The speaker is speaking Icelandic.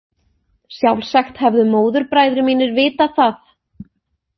Sjálfsagt hefðu móðurbræður mínir vitað það.